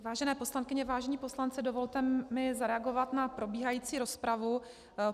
Vážené poslankyně, vážení poslanci, dovolte mi zareagovat na probíhající rozpravu.